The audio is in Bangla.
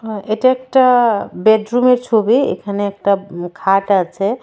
হ্যাঁ এটা একটা বেডরুমের ছবি এখানে একটা খাট আছে.